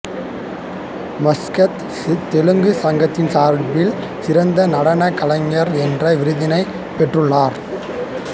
Muscat தெலுங்குச் சங்கத்தின் சார்பில் சிறந்த நடனக் கலைஞர் என்ற விருதினைப் பெற்றுள்ளார்